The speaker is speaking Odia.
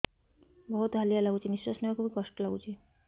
ବହୁତ୍ ହାଲିଆ ଲାଗୁଚି ନିଃଶ୍ବାସ ନେବାକୁ ଵି କଷ୍ଟ ଲାଗୁଚି